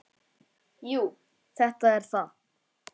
Jú, þetta er það.